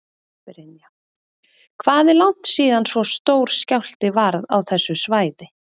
Brynja: Hvað er langt síðan svo stór skjálfti varð á þessu svæði?